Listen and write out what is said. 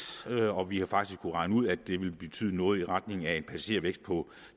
og vi har faktisk kunnet regne ud at det vil betyde noget i retning af en passagervækst på